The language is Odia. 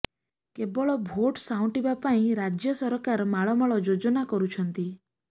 କେବଳ ଭୋଟ୍ ସାଉଁଟିବା ପାଇଁ ରାଜ୍ୟ ସରକାର ମାଳ ମାଳ ଯୋଜନା କରୁଛନ୍ତି